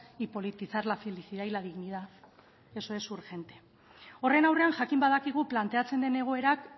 y politizar la felicidad y la dignidad eso es urgente horren aurrean jakin badakigu planteatzen den egoerak